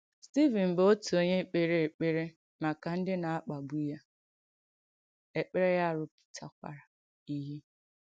Stìvìn bụ̀ òtù onyè kpèrè èkpèrè maka ndí na-akpàgbù ya, èkpèrè ya rụ̀pùtàkwàrà ìhé.